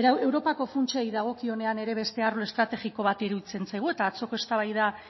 europako funtsei dagokionean ere besteak arlo estrategiko bat iruditzen zaigu eta atzoko eztabaida